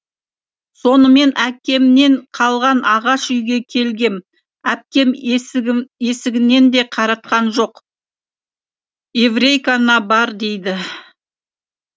сонымен әкемнен қалған ағаш үйге келгем әпкем есігінен де қаратқан жоқ еврейкаңа бар дейді